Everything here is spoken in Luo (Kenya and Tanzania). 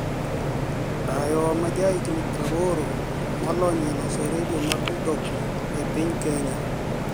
Dayo maja jahiginii 80, moloniy e loso redio mag mtoknii e piniy Keniya